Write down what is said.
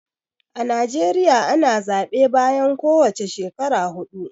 A Najeriya ana zaɓe bayan ko wace shekara huɗu.